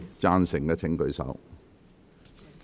贊成的請舉手。